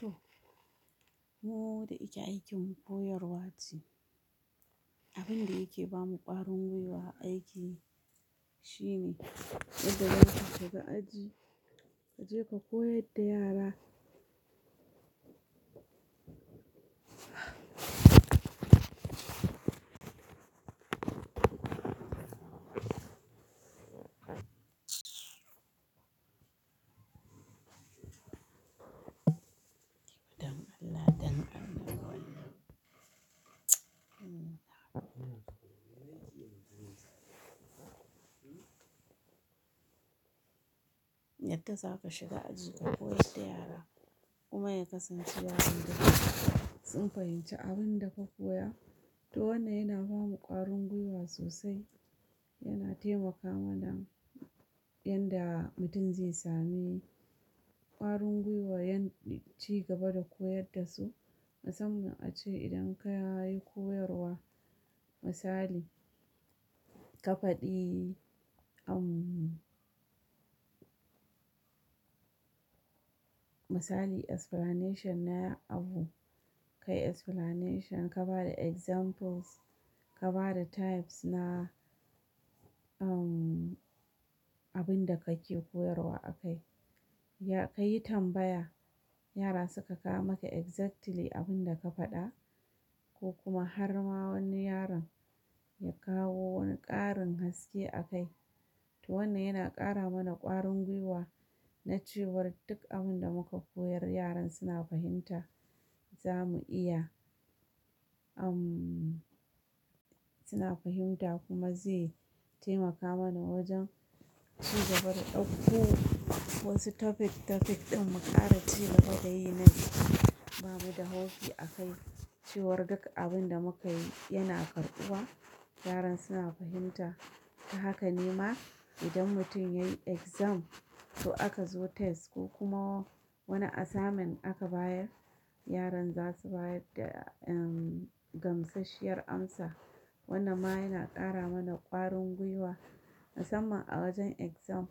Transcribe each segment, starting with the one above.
To, mu da yake aikin koyarwa ce. Abin da yake ba mu ƙwarin gwiwa aiki shine yadda za ka shiga aji, ka je ka koyar da yara. Yadda za ka shiga aji ka koyar da yara kuma ya kasance yaron da sun fahimci abin da ka koya. To wannan yana ba mu ƙwarin gwiwa sosai, yana taimaka mana yanda mutum zai sami ƙwarin gwiwa yayin ci gaba da koyar da su. Musamman a ce idan ka yi koyarwa misali, ka faɗi misali explanation na abu, kai explanation ka ba da examples, ka ba da types na abin da kake koyarwa a kai. Ka yi tambaya, yara suka kawo maka exactly abin da ka faɗa ko kuma har ma wani yaron ya kawo wani ƙarin haske a kai. To wannan yana ƙara mana ƙwarin gwiwa na cewa duk abin da muka koyar yaran suna fahimta, za mu iya suna fahimta kuma zai taimaka mana wajen ci gaba da ɗauko wasu topic topic ɗin mu ƙara cewa daga yayinan ba mu da hauki a kai. Cewar duk abin da muka yi yana karɓuwa, yaran suna fahimta. To haka nima idan mutum yayi exam ko aka zo test ko kuma wani asamin aka bayar, yaran za su bayar da gamsasshiyar amsa. Wannan ma yana ƙara mana ƙwarin gwiwa. Musamman a wajen exam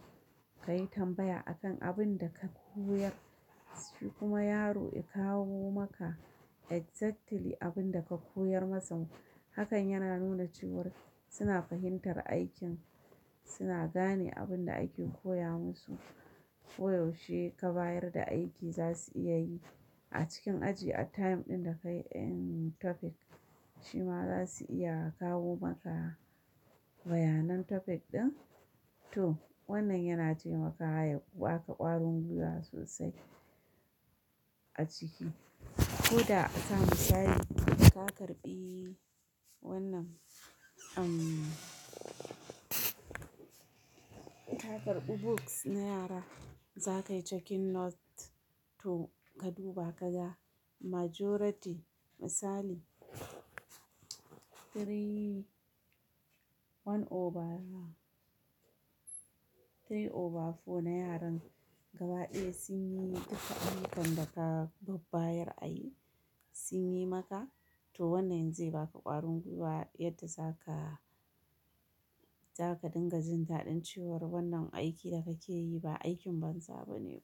ka yi tambaya akan abin da ka koyar, shi kuma yaro ya kawo maka exactly abin da ka koyar masa. Hakan yana nuna cewar suna fahimtar aikin, suna gane abin da ake koya musu. Ko yaushe ka bayar da aiki za su iya yi a cikin aji a time ɗin da ka yi topic, shi ma za su iya kawo maka bayanan topic ɗin. To wannan yana taimakawa ya baka ƙwarin gwiwa sosai a ciki. Ko da asa misali ka karɓi wannan, ka karɓi books na yara, za ka yi checking notes to ka duba ka ga majority misali three, one over three over four na yaran gaba ɗaya sun yi duka abin da ka babbayar a yi, sun yi maka. To wannan zai baka ƙwarin gwiwa yadda za ka, za ka dinga jin daɗin cewar wannan aiki da kake yi ba aikin banza ba ne.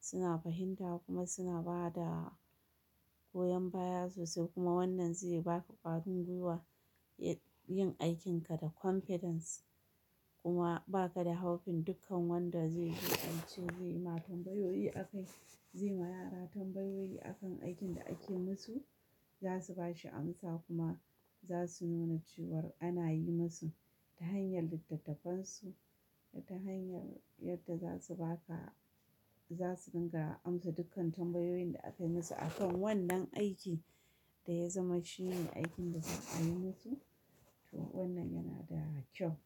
Suna fahimta kuma suna ba da goyan baya sosai kuma wannan zai baka ƙwarin gwiwa yin aikinka da confidence. Kuma ba ka da hakin dukkan wanda zai zo aiki zai ma tambayoyi a kai, zai ma yara tambayoyi a kan aikin da ake musu. Za su ba shi amsa kuma za su nuna cewar ana yi musu ta hanyar littattafansu da ta hanyar yadda za su baka, za su dinga amsa dukkan tambayoyin da aka yi musu a kan wannan aiki da ya zama shine aikin da kuka yi musu. To wannan yana da kyau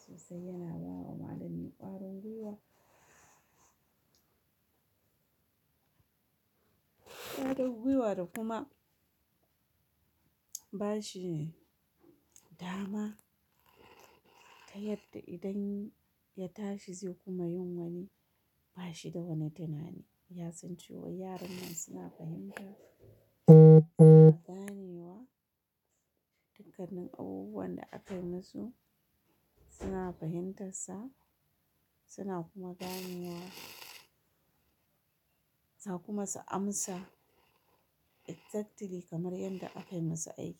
sosai, yana bawa malami ƙwarin gwiwa. Ƙwarin gwiwa da kuma ba shi dama ta yadda idan ya tashi zai kuma yin wani. Ba shi da wani tunani, ya san cewa yaran nan suna fahimta, gane wa dukkanin abubuwan da aka yi musu. Suna fahimtarsa, suna kuma gane wa. Za kuma su amsa exactly kamar yadda aka yi masa aiki.